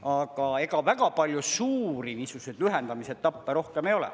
Aga ega väga palju suuri niisuguseid lühendamise etappe rohkem ei ole.